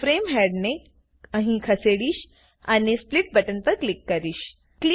હું ફ્રેમ હેડને અહીં ખસેડીશ અને સ્પ્લિટ બટન પર ક્લિક કરીશ